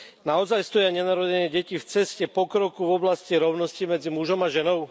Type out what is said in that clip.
Naozaj stoja nenarodené deti v ceste pokroku v oblasti rovnosti medzi mužom a ženou?